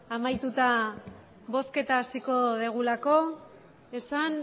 amaituta bozketa hasiko dugulako esan